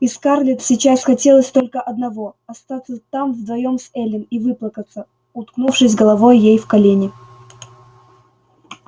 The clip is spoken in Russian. и скарлетт сейчас хотелось только одного остаться там вдвоём с эллин и выплакаться уткнувшись головой ей в колени